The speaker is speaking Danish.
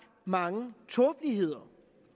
mange tåbeligheder